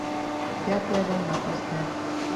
пятая волна поставь